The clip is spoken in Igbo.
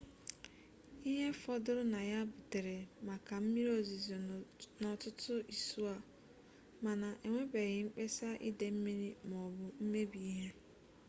ihe fọdụrụ na ya butere maka mmiri ozizo n'ọtụtụ isuo mana enwebeghị mkpesa ide mmiri m'ọbụ mmebi ihe